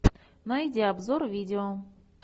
найди обзор видео